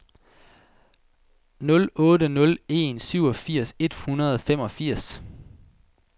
nul otte nul en syvogfirs et hundrede og femogfirs